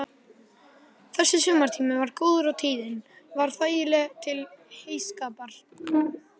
Þessi sumartími var góður og tíðin var þægileg til heyskapar.